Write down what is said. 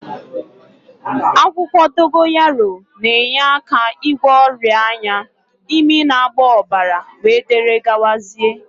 Akwukwo dogoyaro na-enyeaka igwo oria anya, imi na-agba obara wdgz